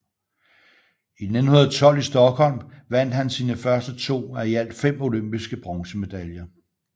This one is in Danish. I 1912 i Stockholm vandt han sine første to af i alt fem olympiske bronzemedaljer